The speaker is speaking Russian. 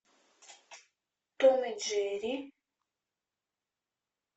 том и джерри